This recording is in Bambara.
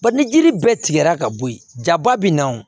Ba ni jiri bɛɛ tigɛra ka bɔ yen jaba bɛna o